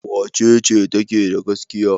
Wace ce take da gaskiya?